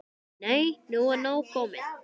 Nei, nú er nóg komið!